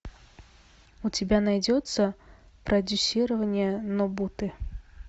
у тебя найдется продюсирование нобуты